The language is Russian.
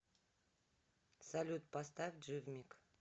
салют поставь дживмик